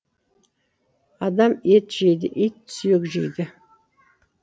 адам ет жейді ит сүйек жейді